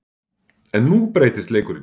En nú breytist leikurinn.